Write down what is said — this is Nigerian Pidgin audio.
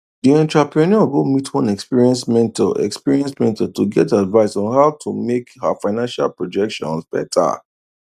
the entrepreneur go meet one experienced mentor experienced mentor to get advice on how to make her financial projections better